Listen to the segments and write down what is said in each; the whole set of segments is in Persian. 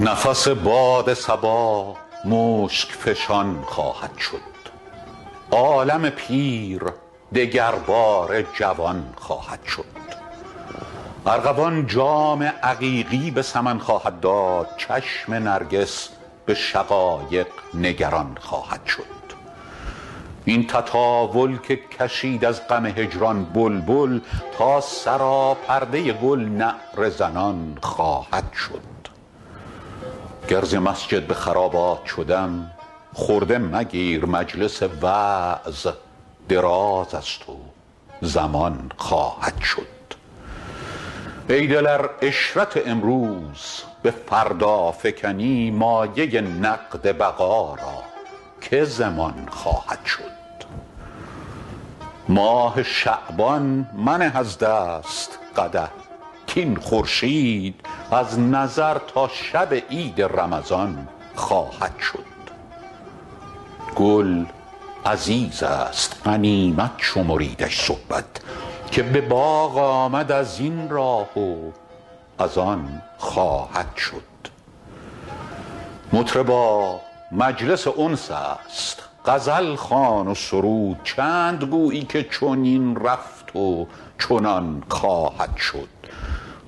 نفس باد صبا مشک فشان خواهد شد عالم پیر دگرباره جوان خواهد شد ارغوان جام عقیقی به سمن خواهد داد چشم نرگس به شقایق نگران خواهد شد این تطاول که کشید از غم هجران بلبل تا سراپرده گل نعره زنان خواهد شد گر ز مسجد به خرابات شدم خرده مگیر مجلس وعظ دراز است و زمان خواهد شد ای دل ار عشرت امروز به فردا فکنی مایه نقد بقا را که ضمان خواهد شد ماه شعبان منه از دست قدح کاین خورشید از نظر تا شب عید رمضان خواهد شد گل عزیز است غنیمت شمریدش صحبت که به باغ آمد از این راه و از آن خواهد شد مطربا مجلس انس است غزل خوان و سرود چند گویی که چنین رفت و چنان خواهد شد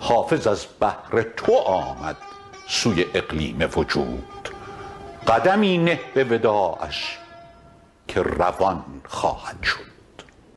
حافظ از بهر تو آمد سوی اقلیم وجود قدمی نه به وداعش که روان خواهد شد